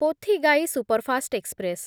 Pothigai superfast express